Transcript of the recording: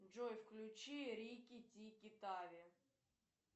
джой включи рики тики тави